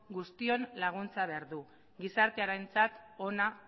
guztion laguntza behar du gizartearentzat ona